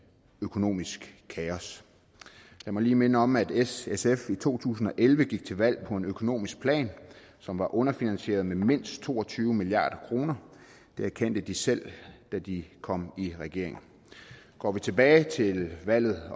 økonomisk kaos lad mig lige minde om at s og sf i to tusind og elleve gik til valg på en økonomisk plan som var underfinansieret med mindst to og tyve milliard kroner det erkendte de selv da de kom i regering går vi tilbage til valget